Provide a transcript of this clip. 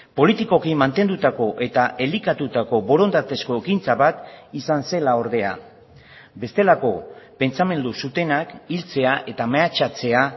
politikoki mantendutako eta elikatutako borondatezko ekintza bat izan zela ordea bestelako pentsamendu zutenak hiltzea eta mehatxatzea